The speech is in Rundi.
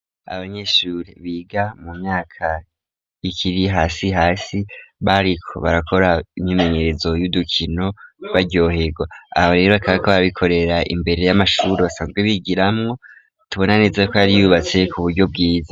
Abanyeshure, biga mu myaka, ikiri hasi hasi, bariko barakora, imyimenyerezo y'udukino, baryohegwa; aho rero, bakaba bariko barabikorera, imbere y'amashure basanzwe bigiramwo, tubona neze y'uko yari yubatse, ku buryo bwiza.